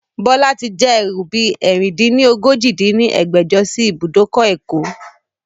Bọlá tí já ẹrú bi ẹ̀rin-dín-ní-ojì dín ní ẹgbẹ́jọ sí ibùdókọ̀ ẹ̀kọ́